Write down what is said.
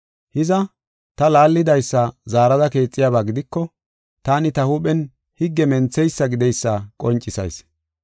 Hiza, ta laallidaysa zaarada keexiyaba gidiko taani ta huuphen higge mentheysa gideysa qoncisayis.